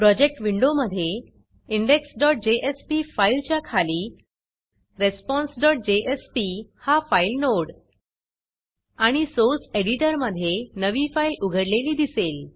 project विंडोमधे indexजेएसपी फाईलच्या खाली responseजेएसपी हा फाईल नोड आणि सोर्स एडिटरमधे नवी फाईल उघडलेली दिसेल